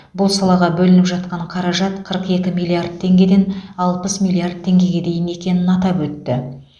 бұл салаға бөлініп жатқан қаражат қырық екі миллиард теңгеден алпыс миллиард теңгеге дейін өскенін атап өтті